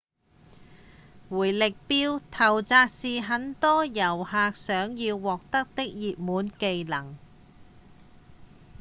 迴力鏢投擲是很多遊客想要獲得的熱門技能